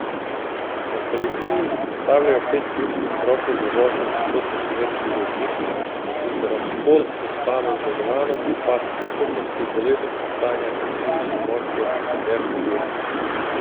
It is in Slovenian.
Na policiji izpostavljajo pet ključnih vzrokov za vožnjo v nasprotno smer pri voznikih, in sicer alkohol, zaspanost za volanom, upad sposobnosti, bolezenska stanja in psihične motnje ter objestnost.